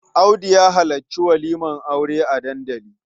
Audu ya halarci walimar aure a dandali.